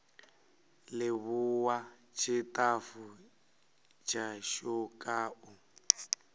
livhuwa tshitafu tshashu kha u